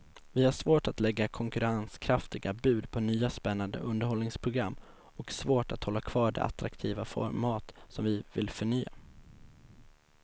Vi har svårt att lägga konkurrenskraftiga bud på nya spännande underhållningsprogram och svårt att hålla kvar de attraktiva format som vi vill förnya.